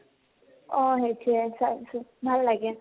অ । সেইতোৱে চাইছো, ভাল লাগে ।